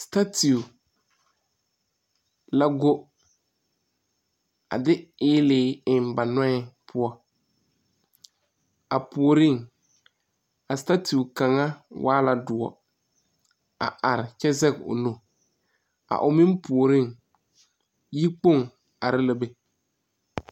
Statioɔ la go a de eili eŋ ba nuoe poʊ. A pooreŋ, a statioɔ kanga waa la duoɔ a are kyɛ zeg o nu. A o meŋ pooreŋ, yi kpong are la be.